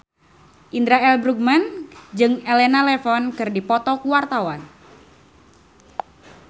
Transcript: Indra L. Bruggman jeung Elena Levon keur dipoto ku wartawan